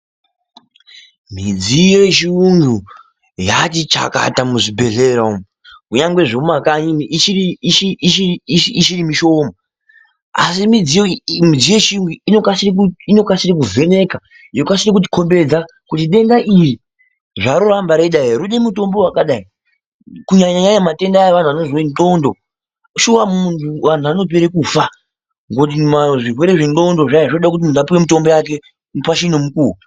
Midziyo yechirungu yatichakata muzvibhedhlera umu kunyari mumakanyi ichiri mishoma, asi midziyo yechirungu iyi inokasira kuvheneka yokasira kuti kombedza kuti denda iri zvaro ramba reita roda mutombo wakadai kunyanya matenda aya evantu vanozwa nhlondo shuwa vantu vanopera kufa ngekuti zvirwere zvenhlondo zvoda kuti muntu apuwe mutombo wake pachine nguva.